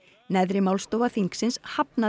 neðri málstofa þingsins hafnaði